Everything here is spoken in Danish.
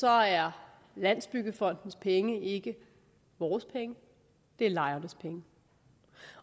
er landsbyggefondens penge ikke vores penge det er lejernes penge